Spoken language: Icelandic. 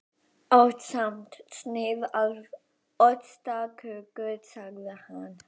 Ásamt sneið af ostaköku sagði hann.